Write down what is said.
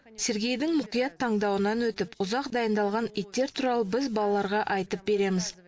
сергейдің мұқият таңдауынан өтіп ұзақ дайындалған иттер туралы біз балаларға айтып береміз